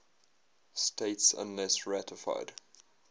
states unless ratified